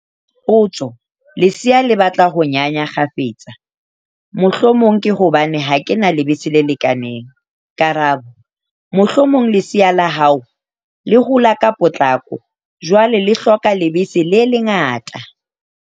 Potso- Lesea le batla ho nyanya kgafetsa, mohlomong ke hobane ha ke na lebese le lekaneng? Karabo- Mohlomong lesea la hao le hola ka potlako, jwale le hloka lebese le le ngata.